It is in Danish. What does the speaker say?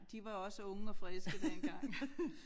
De var også unge og friske dengang